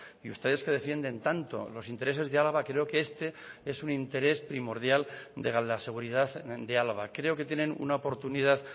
y ustedes que defienden tanto los intereses de álava creo que este es un interés primordial de la seguridad de álava creo que tienen una oportunidad